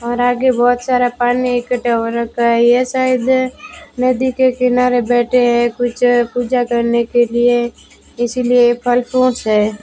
और आगे बहुत सारा पानी इकट्ठा हो रखा है ये शायद नदी के किनारे बैठे हैं कुछ पूजा करने के लिए इसलिए फल फ्रूट्स है।